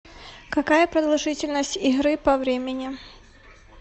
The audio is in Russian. какая продолжительность игры по времени